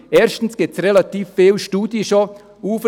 Erstens gibt es bereits recht viele Studien.